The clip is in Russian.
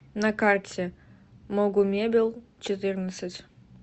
на карте могумебелчетырнадцать